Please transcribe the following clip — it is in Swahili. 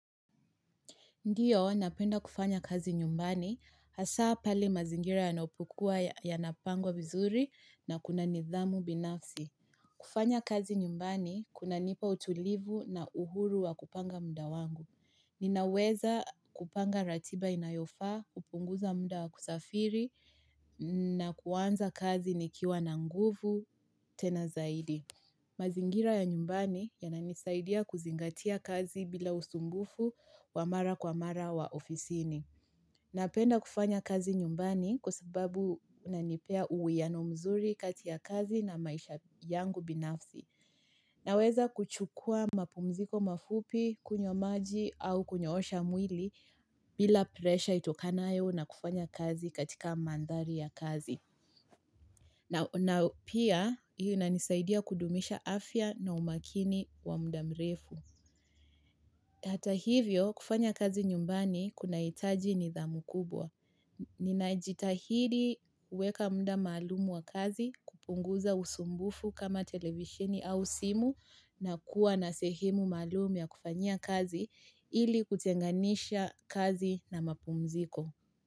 Ndiyo, napenda kufanya kazi nyumbani, hasa pale mazingira yanapokuwa ya napangwa vizuri na kuna nidhamu binafsi. Kufanya kazi nyumbani, kuna nipa utulivu na uhuru wa kupanga mda wangu. Ninaweza kupanga ratiba inayofaa, kupunguza mda wa kusafiri, na kuanza kazi nikiwa na nguvu, tena zaidi. Mazingira ya nyumbani yananisaidia kuzingatia kazi bila usumbufu wamara kwa mara wa ofisini. Napenda kufanya kazi nyumbani kwa sababu unanipea uwiano mzuri kati ya kazi na maisha yangu binafsi. Naweza kuchukua mapumziko mafupi kunywa maji au kunyo osha mwili bila presha itokanayo na kufanya kazi katika mandhari ya kazi. Na pia, hiyo na nisaidia kudumisha afya na umakini wa mdamrefu. Hata hivyo, kufanya kazi nyumbani kuna itaji ni dhamu kubwa. Nina jitahidi kuweka mda maalumu wa kazi kupunguza usumbufu kama televishini au simu na kuwa na sehemu maalumu ya kufanyia kazi ili kutenganisha kazi na mapumziko.